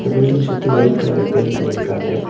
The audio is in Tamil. பில்டிங் சுத்தி வைட் கலர்ல பெயிண்ட் பண்ணி இருக்காங்க.